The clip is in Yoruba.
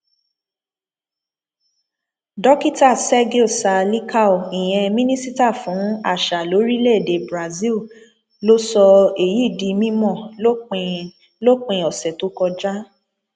dókítà sergio sa líkáo ìyẹn mínísítà fún àṣà lórílẹèdè brazil ló sọ èyí di mímọ lópin lópin ọsẹ tó kọjá